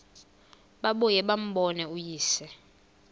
babuye bambone uyise